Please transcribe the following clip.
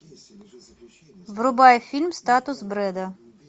врубай фильм статус бреда